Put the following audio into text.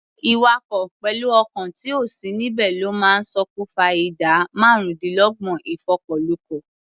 Ìwakọ̀ pẹ̀lú ọkàn tí ò sí níbẹ̀ ló máa ń ṣòkùfa ìdá márùndínlọ́gbọ̀n ìfọkọ̀lukọ̀.